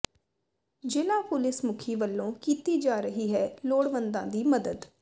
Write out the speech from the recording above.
ਜ਼ਿਲ੍ਹਾ ਪੁਲਿਸ ਮੁਖੀ ਵੱਲੋਂ ਕੀਤੀ ਜਾ ਰਹੀ ਹੈ ਲੋੜਵੰਦਾਂ ਦੀ ਮਦਦ